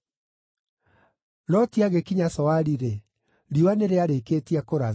Loti agĩkinya Zoari-rĩ, riũa nĩrĩarĩkĩtie kũratha.